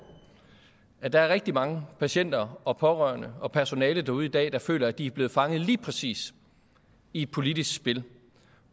at der er rigtig mange patienter og pårørende og personale derude i dag der føler at de er blevet fanget lige præcis i et politisk spil